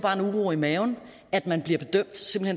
en uro i maven at man bliver bedømt